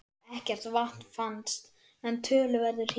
Fannst hann og lifandi með reiðtygjum en beislistaumarnir þverskornir.